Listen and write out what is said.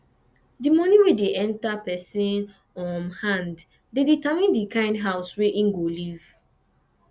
di money wey dey enter person um hand dey determine di kimd house wey im go live